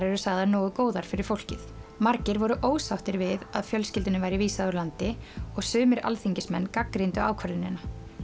sagðar nógu góðar fyrir fólkið margir voru ósáttir við að fjölskyldunni væri vísað úr landi og sumir alþingismenn gagnrýndu ákvörðunina